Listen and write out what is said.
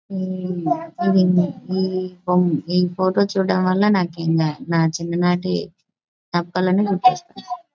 ఈ ఫోమ్ ఈ ఫోటో చూడడం వల్ల నాకు ఇంకా నా చిన్న నాటి జ్ఞాపకాలన్నీ గుర్తొస్తున్--